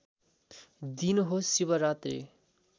दिन हो शिवरात्री